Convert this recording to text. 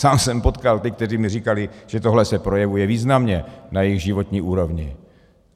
Sám jsem potkal ty, kteří mi říkali, že tohle se projevuje významně na jejich životní úrovni.